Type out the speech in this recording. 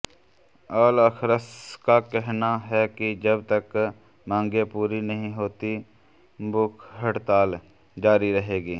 Al Akhras का कहना है कि जब तक मांगें पूरी नहीं होतीं भूख हड़ताल जारी रहेगी